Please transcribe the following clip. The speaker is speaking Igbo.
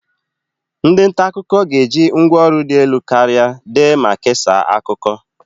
Ndị nta akụkọ ga-eji ngwa ọrụ dị elu karịa dee ma kesaa akụkọ.